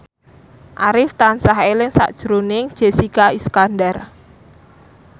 Arif tansah eling sakjroning Jessica Iskandar